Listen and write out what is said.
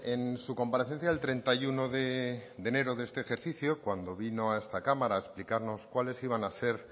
en su comparecencia del treinta y uno de enero de este ejercicio cuando vino a esta cámara a explicarnos cuáles iban a ser